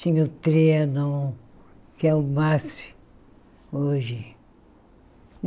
Tinha o, que é o máximo hoje.